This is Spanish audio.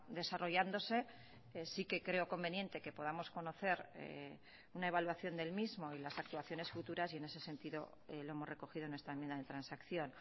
desarrollándose sí que creo conveniente que podamos conocer una evaluación del mismo y las actuaciones futuras y en ese sentido lo hemos recogido en esta enmienda de transacción